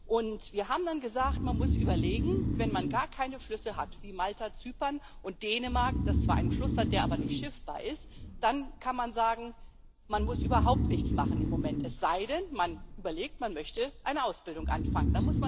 Und wir haben dann gesagt Man muss überlegen, wenn man gar keine Flüsse hat wie Malta, Zypern und Dänemark, das zwar einen Fluss hat, der aber nicht schiffbar ist dann kann man sagen Man muss im Moment überhaupt nichts machen, es sei denn, man überlegt, man möchte eine Ausbildung anfangen.